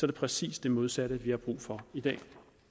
det præcis det modsatte vi har brug for i dag